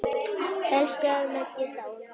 Elsku afi Maggi er dáinn.